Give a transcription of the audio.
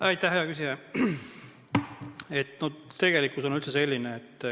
Aitäh, hea küsija!